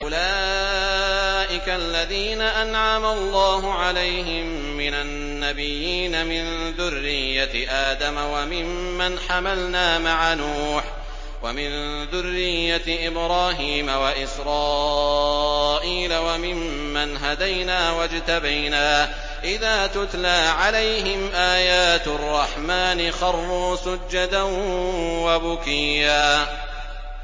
أُولَٰئِكَ الَّذِينَ أَنْعَمَ اللَّهُ عَلَيْهِم مِّنَ النَّبِيِّينَ مِن ذُرِّيَّةِ آدَمَ وَمِمَّنْ حَمَلْنَا مَعَ نُوحٍ وَمِن ذُرِّيَّةِ إِبْرَاهِيمَ وَإِسْرَائِيلَ وَمِمَّنْ هَدَيْنَا وَاجْتَبَيْنَا ۚ إِذَا تُتْلَىٰ عَلَيْهِمْ آيَاتُ الرَّحْمَٰنِ خَرُّوا سُجَّدًا وَبُكِيًّا ۩